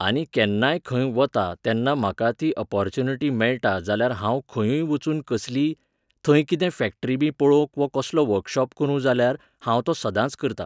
आनी केन्नाय खंय वतां तेन्ना म्हाका ती अपॉर्च्युनिटी मेळटा जाल्यार हांव खंयूय वचून कसलीय, थंय कितें फॅक्ट्रीबी पळोवंक वो कसलो वर्कशॉप करूं जाल्यार, हांव तो सदांच करतां.